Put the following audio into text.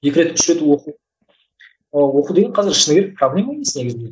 екі рет үш рет оқу ы оқу деген қазір шыны керек проблема емес негізінде